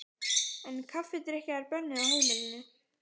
En kaffidrykkja er bönnuð á heimilinu.